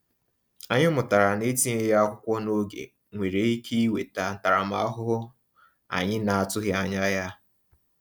Anyị mụtara na etinyeghị akwụkwọ n’oge nwere ike iweta ntaramahụhụ anyị na-atụghị anya ya.